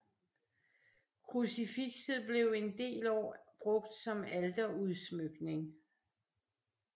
Krucifixet blev en del år brugt som alterudsmykning